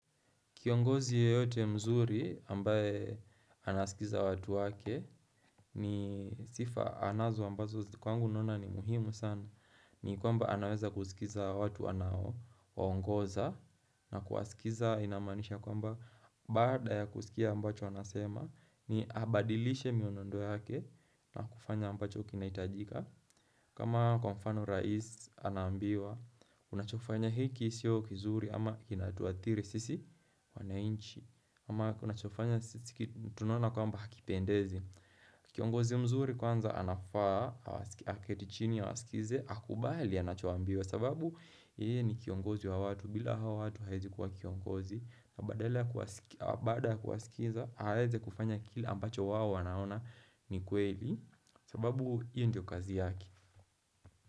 Kiongozi yeyote mzuri ambaye anaskiza watu wake ni sifa anazo ambazo kwangu nona ni muhimu sana. Ni kwamba anaweza kusikiza watu anao ongoza na kuwasikiza inamanisha kwamba bada ya kusikia ambacho anasema ni abadilishe mienendo yake na kufanya ambacho kinahitajika. Kama kwa mfano rais anaambiwa, unachofanya hiki sio kizuri ama kinatuadhiri sisi wanainchi ama unachofanya sisi tunona kwamba hakipendezi Kiongozi mzuri kwanza anafaa, aketi chini awasikize, akubali anachoambiwa sababu yeye ni kiongozi wa watu, bila hawa watu haezi kwa kiongozi na baada kuwaskiza, aweze kufanya kile ambacho wao wanaona ni kweli sababu hiyo ndio kazi yake.